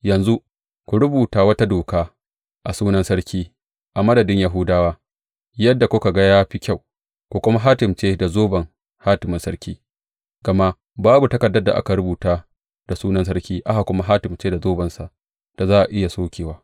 Yanzu ku rubuta wata doka, a sunan sarki, a madadin Yahudawa, yadda kuka ga ya fi kyau ku kuma hatimce ta da zoben hatimin sarki, gama babu takardar da aka rubuta da sunan sarki, aka kuma hatimce da zobensa da za a iya sokewa.